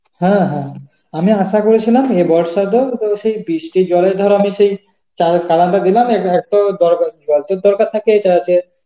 হ্যাঁ হ্যাঁ আমরা আশা করেছিলাম হে বর্ষার জল, সেই বৃষ্টির জলের ধারা তো সেই যাও পালানটা দিলাম এবং তোর দরকার থাকলে এইটা আছে